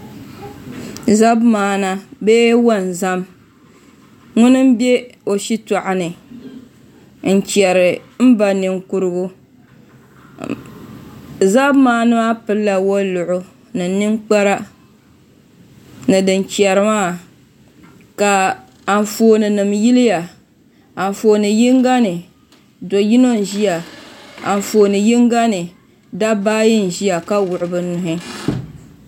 Zabi maanda bee wonzam ka o bɛ o shitoɣu ni n chɛri n ba ninkurigu zabi maandi maa pilila woliɣi ni ninkpara ni din chɛri maa ka Anfooni nim yiliya Anfooni yinga ni do yino n ʒiya Anfooni yinga ni dabba ayi n ʒiya ka wuɣu bi nuhi